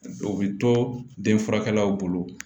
O bɛ to den furakɛlaw bolo